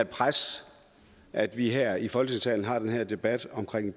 pres at vi her i folketingssalen har den her debat om